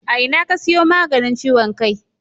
A ina ka siyo maganin ciwon kai?